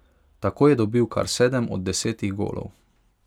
Tako je dobil kar sedem od desetih golov.